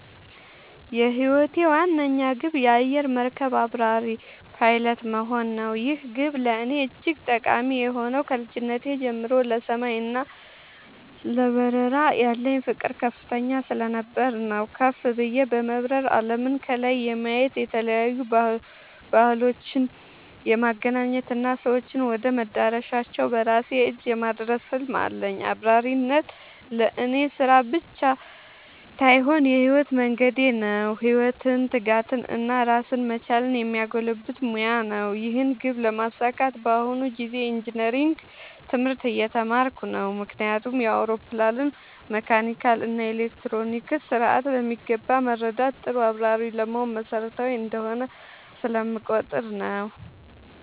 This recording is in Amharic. የህይወቴ ዋነኛ ግብ የአየር መርከብ አብራሪ (Pilot) መሆን ነው። ይህ ግብ ለእኔ እጅግ ጠቃሚ የሆነው ከልጅነቴ ጀምሮ ለሰማይ እና ለበረራ ያለኝ ፍቅር ከፍተኛ ስለነበር ነው። ከፍ ብዬ በመብረር አለምን ከላይ የማየት፣ የተለያዩ ባህሎችን የማገናኘት እና ሰዎችን ወደ መዳረሻቸው በራሴ እጅ የማድረስ ህልም አለኝ። አብራሪነት ለእኔ ስራ ብቻ ሳይሆን የህይወት መንገዴ ነው - ኃላፊነትን፣ ትጋትን እና ራስን መቻልን የሚያጎለብት ሙያ ነው። ይህን ግብ ለማሳካት በአሁኑ ጊዜ ኢንጂነሪንግ (Engineering) ትምህርት እየተማርኩ ነው። ምክንያቱም የአውሮፕላንን መካኒካል እና ኤሌክትሮኒክስ ስርዓት በሚገባ መረዳት ጥሩ አብራሪ ለመሆን መሰረታዊ እንደሆነ ስለምቆጠር ነው።